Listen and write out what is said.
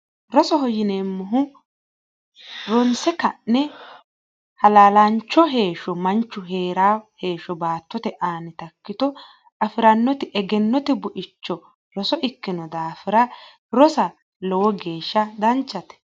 rosoho yineemmohu ronse ka'ne halaalaancho heeshsho manchu heeshsho baattote aana ikkito afirannoti egennote buicho roso ikkino daafira rosa lowo geeshsha danchate.